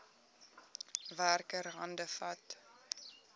werker hande vat